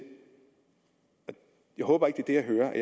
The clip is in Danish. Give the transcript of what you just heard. håber ikke at det jeg hører er